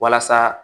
Walasa